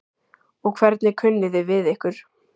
Og hvernig kunni þið við ykkur?